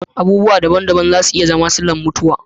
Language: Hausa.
Abubuwa daban-daban za ta iya zama tana da mutuwa